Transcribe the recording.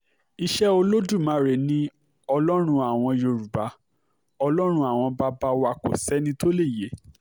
iṣẹ́ olódùmarè ni ọlọ́run àwa yorùbá ọlọ́run àwọn bàbá wa kò sẹ́ni tó lè yẹ